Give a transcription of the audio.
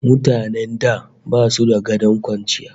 Mutanen da basu da gadon kwanciya